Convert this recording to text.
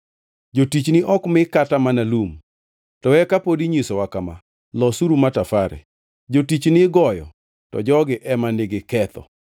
Jotichni ok mi kata mana lum, to eka pod inyisowa kama: ‘Losuru matafare!’ Jotichni igoyo, to jogi ema nigi ketho.”